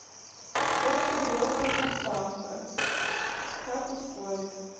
очень долгая доставка как ускорить